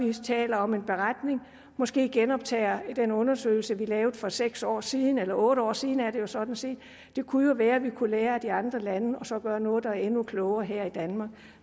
vi så taler om en beretning og måske genoptager den undersøgelse vi lavede for seks år siden eller otte år siden er det jo sådan set det kunne jo være at vi kunne lære af de andre lande og så gøre noget der er endnu klogere her i danmark